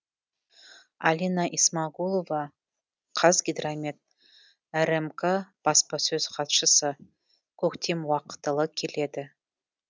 алина исмагулова қазгидромет рмк баспасөз хатшысы көктем уақытылы келеді